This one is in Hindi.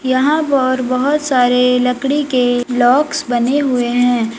यहाँ पर बहुत सारे लकड़ी के ब्लॉक्स बने हुए हैं।